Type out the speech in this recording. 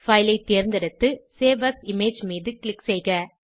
file ஐ தேர்ந்தெடுத்து save as image தேர்வு மீது க்ளிக் செய்க